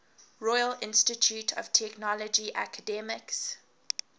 royal institute of technology academics